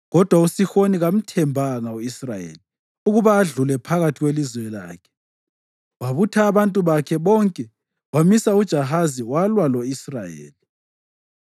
Kodwa uSihoni kamthembanga u-Israyeli ukuba adlule phakathi kwelizwe lakhe. Wabutha abantu bakhe bonke wamisa eJahazi walwa lo-Israyeli.